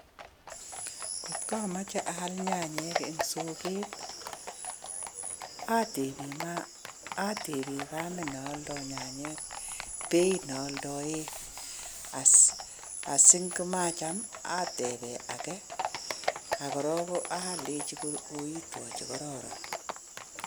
Ngotko amache aal nyanyek eng soket, atepe kamet ne aldai nyanyek beeit ne aldae asi ngomacham atepe ake ako rok alechi koitwo che kororon.